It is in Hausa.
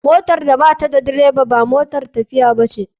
Motar da bata da direba ba motar tafiiya bace.